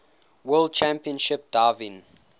world championship driving